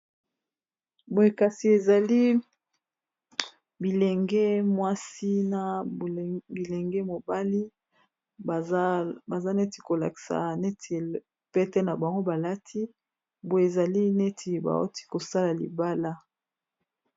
boye kasi ezali bilenge mwasi na bilenge mobali baza neti kolakisa neti pete na bango balati boye ezali neti baoti kosala libala